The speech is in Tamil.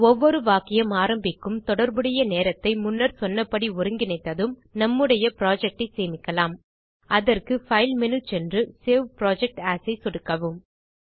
ஒவ்வொரு வாக்கியம் ஆரம்பிக்கும் தொடர்புடைய நேரத்தை முன்னர் சொன்னபடி ஒருங்கிணைத்ததும் நம்முடைய ப்ராஜெக்டைச் சேமிக்கலாம்அதற்கு பைல் மேனு சென்று சேவ் புரொஜெக்ட் ஏஎஸ் ஐ சொடுக்கவும்